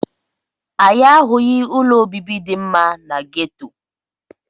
Anyị ahụghị ụlọ obibi dị mma na geto.